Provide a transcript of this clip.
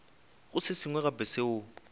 go se sengwe gape seo